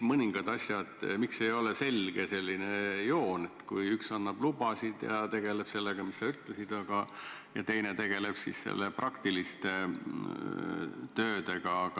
Miks ei ole selge joon, et üks annab lubasid ja tegeleb sellega, mis sa ütlesid, ja teine tegeleb siis praktiliste töödega?